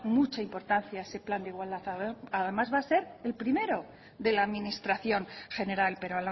mucha importancia ese plan de igualdad además va a ser el primero de la administración general pero